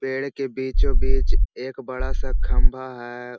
पेड़ के बीचो-बीच एक बड़ा सा खम्भा है ।